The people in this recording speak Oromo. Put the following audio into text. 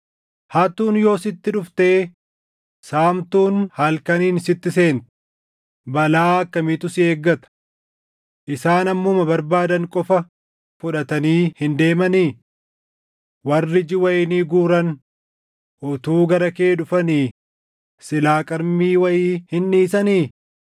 “Hattuun yoo sitti dhuftee saamtuun halkaniin sitti seente, balaa akkamiitu si eeggata! Isaan hammuma barbaadan qofa fudhatanii hin deemanii? Warri ija wayinii guuran utuu gara kee dhufanii, silaa qarmii wayii hin dhiisanii?